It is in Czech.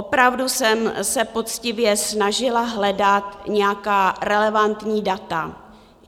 Opravdu jsem se poctivě snažila hledat nějaká relevantní data.